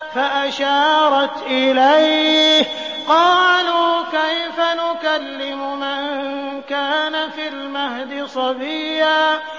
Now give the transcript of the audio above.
فَأَشَارَتْ إِلَيْهِ ۖ قَالُوا كَيْفَ نُكَلِّمُ مَن كَانَ فِي الْمَهْدِ صَبِيًّا